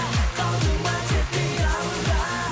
қалдың ба тек қиялымда